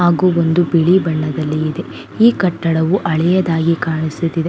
ಹಾಗು ಒಂದು ಬಿಳಿ ಬಣ್ಣದಲ್ಲಿ ಇದೆ ಈ ಕಟ್ಟಡವು ಹಳೆಯದಾಗಿ ಕಾಣಿಸುತ್ತಿದೆ.